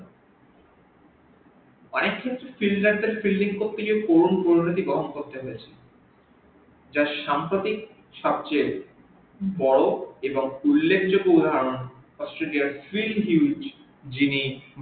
অনেক ক্ষেত্রে filder দের fielding করতে গিয়ে যার সাম্প্রদিক সবচেয়ে বর এবং উল্লেখ জগ্য উদাহরন australia spring each যিনি